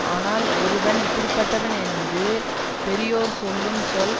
ஆனால் ஒருவன் இப்படி பட்டவன் என்று பெரியோர் சொல்லும் சொல்